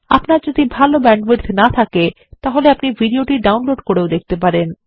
আপনার যদি ভাল ব্যান্ডউইডথ না থাকে আপনি এটি ডাউনলোড করেও দেখতে পারেন